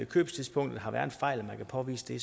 købstidspunktet har været en fejl og man kan påvise det